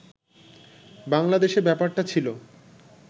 বাঙলা দেশে ব্যাপারটা ছিল